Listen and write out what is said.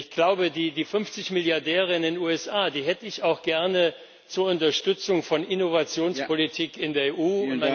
Ich glaube, die 50 Milliardäre in den USA die hätte ich auch gerne zur Unterstützung von Innovationspolitik in der EU.